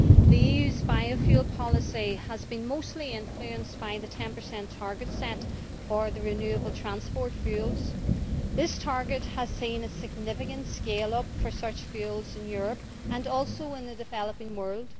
The EU's biofuel policy has been mostly influenced by the 10 targets set for the renewable transport fields. This target has seen a significant scale up for such fuels in Europe, and also in the developing world.